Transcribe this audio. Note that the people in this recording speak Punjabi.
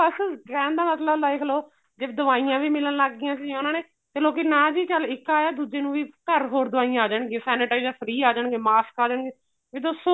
ਬੱਸ ਰਹਿਣ ਦਾ ਮਤਲਬ ਦੇਖ ਲੋ ਜੇ ਦਵਾਈਆਂ ਵੀ ਮਿਲਣ ਲੱਗ ਗਿਆ ਸੀ ਉਹਨਾ ਨੇ ਲੋਕੀ ਨਾ ਜੀ ਚੱਲ ਇੱਕ ਆਇਆ ਦੂਜੇ ਨੂੰ ਵੀ ਘਰ ਹੋਰ ਦਵਾਈਆਂ ਆ ਜਾਣਗੀ sanitizer free ਆ ਜਾਣਗੇ mask ਆ ਜਾਣਗੇ ਵੀ ਦੱਸੋ